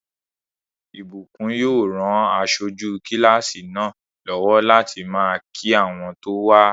Ìbùkún yóò ran aṣojú kílásì náà lọ́wọ́ láti máàkí àwọn tó wá